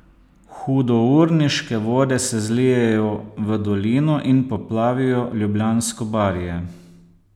Hudourniške vode se zlijejo v dolino in poplavijo Ljubljansko barje.